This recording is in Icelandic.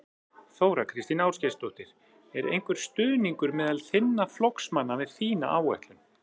Þóra Kristín Ásgeirsdóttir: Er einhver stuðningur meðal þinna flokksmanna við þína áætlun?